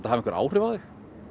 hafi einhver áhrif á þig